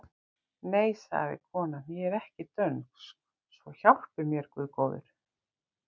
Nei, sagði konan,-ég er ekki dönsk svo hjálpi mér góður Guð!